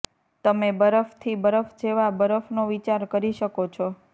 તમે બરફથી બરફ જેવા બરફનો વિચાર કરી શકો છો